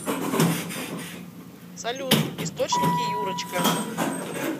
салют источники юрочка